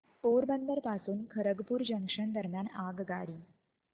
पोरबंदर पासून खरगपूर जंक्शन दरम्यान आगगाडी